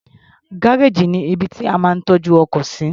Gárèjì ní ibi tí a máa ń tọ́jú ọkọ̀ sí.